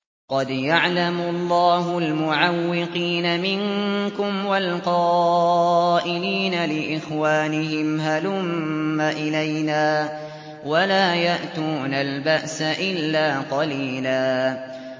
۞ قَدْ يَعْلَمُ اللَّهُ الْمُعَوِّقِينَ مِنكُمْ وَالْقَائِلِينَ لِإِخْوَانِهِمْ هَلُمَّ إِلَيْنَا ۖ وَلَا يَأْتُونَ الْبَأْسَ إِلَّا قَلِيلًا